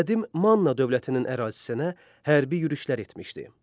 Qədim Manna dövlətinin ərazisinə hərbi yürüşlər etmişdi.